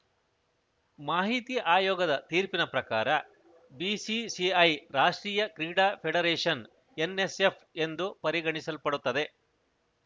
ಮಾಹಿತಿ ಆಯೋಗದ ತೀರ್ಪಿನ ಪ್ರಕಾರ ಬಿಸಿಸಿಐ ರಾಷ್ಟ್ರೀಯ ಕ್ರೀಡಾ ಫೆಡರೇಷನ್‌ ಎನ್‌ಎಸ್‌ಎಫ್‌ ಎಂದು ಪರಿಗಣಿಸಲ್ಪಡುತ್ತದೆ